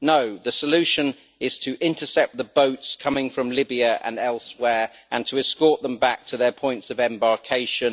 No, the solution is to intercept the boats coming from Libya and elsewhere, and to escort them back to their points of embarkation.